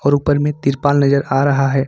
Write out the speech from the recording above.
ऊपर में तिरपाल नजर आ रहा है ।